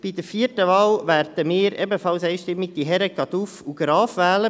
Bei der vierten Wahl werden wir ebenfalls einstimmig die Herren Caduff und Graf wählen.